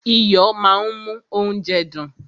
Iyo máa ń mú óúnjẹ dùn.